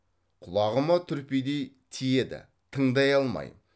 құлағыма түрпідей тиеді тыңдай алмайм